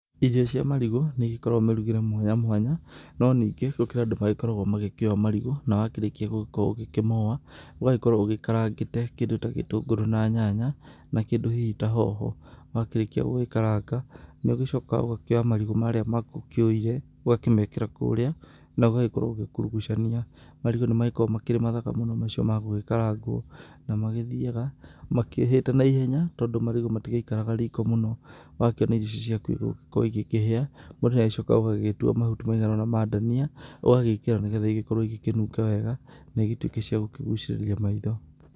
Irio cia marigũ nĩigĩkoragwo mĩrugĩre mwanya mwanya, no ningĩ gũkĩrĩ andũ magĩkoragwo magĩkĩoa marigũ, na wakĩrĩkia gũgĩkorwo ũgĩkĩmoa, ũgagĩkorwo ũgĩkarangĩte gĩtũngũrũ na nyanya na kĩndũ hihi ta hoho, wakĩrĩkia gũgĩkaranga, ũgagĩcoka ũgakĩoya marigũ marĩa maku ũkĩũire, ũgakĩmekĩra kũrĩa ũgagĩkorwo ũgĩkurugucania. Marigũ nĩmagĩkoragwo marĩ mathaka mũno macio ma gũgĩkarangwo, na magĩthiaga makĩhĩte naihenya, tondũ marigũ matigĩikaraga riko mũno, ũgakĩona irio icio ciaku igũgĩkorwo ikĩhĩa, mũndũ nĩagĩcokaga ũgagĩtua mahuti maiganona ma ndania ũgagĩkĩra, nĩguo irio cituĩke cia gũkĩnunga wega na irio icio ituĩke cia gũkĩgucĩrĩria maitho.